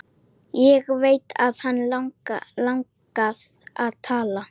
Ég veit að hana langar að tala.